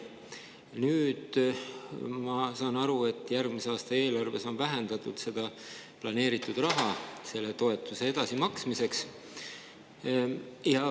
Nüüd, ma saan aru, on järgmise aasta eelarves vähendatud planeeritud raha selle toetuse edasimaksmiseks.